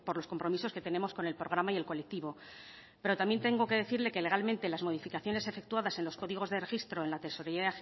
los compromisos que tenemos con el programa y el colectivo pero también tengo que decirle que legalmente las modificaciones efectuadas en los códigos de registro en la tesorería